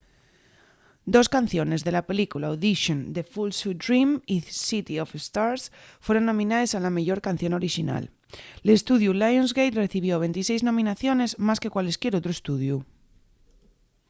dos canciones de la película audition the fools who dream y city of stars fueron nominaes a la meyor canción orixinal. l’estudiu lionsgate recibió 26 nominaciones —más que cualesquier otru estudiu